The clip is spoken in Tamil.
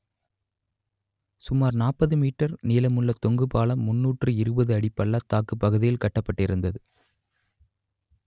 சுமார் நாற்பது மீட்டர் நீளமுள்ள தொங்கு பாலம் முன்னூற்று இருபது அடி பள்ளத்தாக்குப் பகுதியில் கட்டப்பட்டிருந்தது